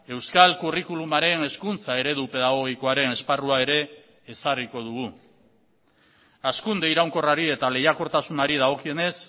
euskal curriculumaren hezkuntza eredu pedagogikoaren esparrua ere ezarriko dugu hazkunde iraunkorrari eta lehiakortasunari dagokionez